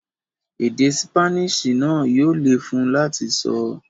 Èdè ṣípánísì náà yóò le fún un láti sọ.